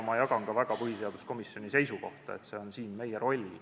Ma jagan põhiseaduskomisjoni seisukohta, et see on meie roll.